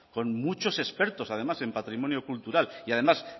con muchos expertos además un patrimonio cultural y además